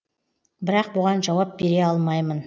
бірақ бұған жауап бере алмаймын